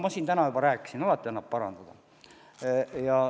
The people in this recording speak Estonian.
Ma siin täna juba ütlesin: alati annab parandada.